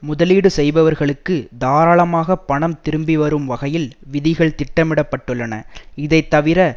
முதலீடு செய்பவர்களுக்கு தாராளமாக பணம் திரும்பி வரும் வகையில் விதிகள் திட்டமிடப்பட்டுள்ளன இதைத்தவிர